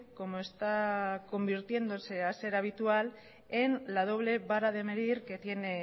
como está convirtiéndose a ser habitual en la doble vara de medir que tiene